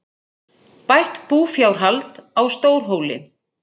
Bætt búfjárhald á Stórhóli